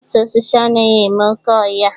Otu osisi anaghị eme oké ọhịa